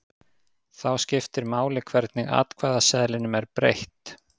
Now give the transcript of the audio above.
Þá skiptir máli hvernig atkvæðaseðlinum er breytt.